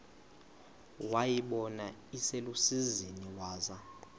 wayibona iselusizini waza